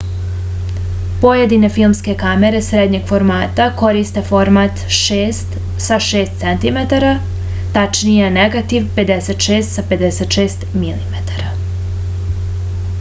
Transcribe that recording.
pojedine filmske kamere srednjeg formata koriste format 6 sa 6 cm tačnije negativ 56 sa 56 mm